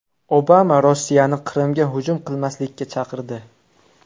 Obama Rossiyani Qrimga hujum qilmaslikka chaqirdi.